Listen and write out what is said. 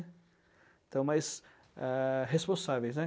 Então, mas a responsáveis, né?